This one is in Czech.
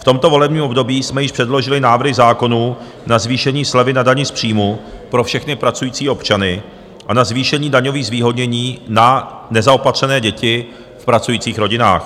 V tomto volebním období jsme již předložili návrhy zákonů na zvýšení slevy na dani z příjmu pro všechny pracující občany a na zvýšení daňových zvýhodnění na nezaopatřené děti v pracujících rodinách.